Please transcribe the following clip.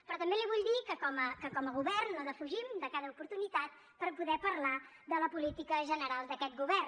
però també li vull dir que com a govern no defugim de cada oportunitat per poder parlar de la política general d’aquest govern